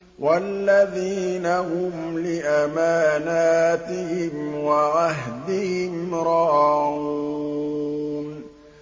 وَالَّذِينَ هُمْ لِأَمَانَاتِهِمْ وَعَهْدِهِمْ رَاعُونَ